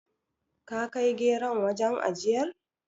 Ka kai geron wajen ajiyar?